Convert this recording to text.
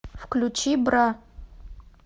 включи бра